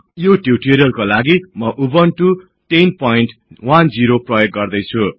यो टिउटोरियलका लागि म उबुन्टु 1010 प्रयोग गदैछु